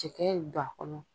Cɛkɛ don a kɔnɔ.